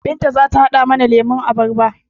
Binta zata haɗa mana lemon abarba